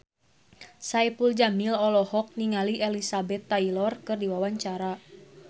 Saipul Jamil olohok ningali Elizabeth Taylor keur diwawancara